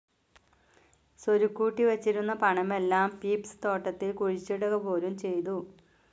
സ്വരുക്കൂട്ടിവച്ചിരുന്ന പണമെല്ലാം പീപ്സ്‌ തോട്ടത്തിൽ കുഴിച്ചിടുകപോലും ചെയ്തു.